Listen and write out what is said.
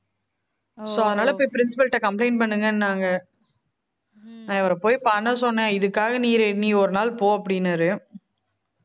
so அதனாலே போய் principal ட்ட complaint பண்ணுங்கன்னாங்க நான் இவரை போய் பண்ண சொன்னேன் இதுக்காக நீ நீ ஒரு நாள் போ அப்படின்னாரு